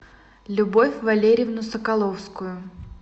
любовь валерьевну соколовскую